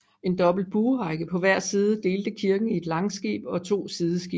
En dobbelt buerække på hver side delte kirken i langskib og to sideskibe